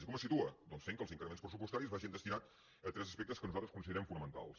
i com es situa doncs fent que els increments pressupostaris vagin destinats a tres aspectes que nosaltres considerem fonamentals